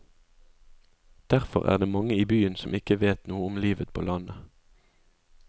Derfor er det mange i byen som ikke vet noe om livet på landet.